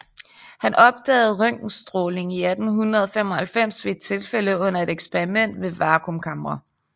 Han opdagede røntgenstråling i 1895 ved et tilfælde under et eksperiment med vakuumkamre